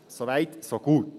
Soweit, so gut.